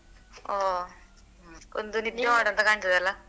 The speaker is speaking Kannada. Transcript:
ಹೋ .